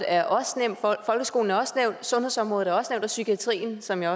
er også nævnt folkeskolen er også nævnt sundhedsområdet er også nævnt og psykiatrien som jeg